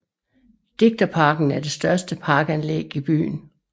Digterparken er det største parkanlæg i byen